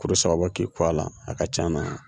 Kuru saba bɔ k'i ko a la a ka can na